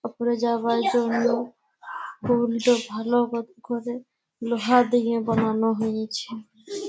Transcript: উপরে যাওয়ার জন্য টুল -টো ভালো ক করে লোহা দিয়ে বানানো হয়েছে |